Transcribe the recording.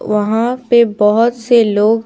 वहां पे बहुत से लोग--